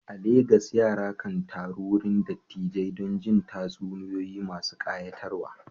A Legas, yara kan taru wurin dattijai don jin tatsuniyoyi masu kayatarwa.